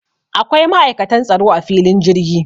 Akwai ma'aikatan tsaro a filin jirgi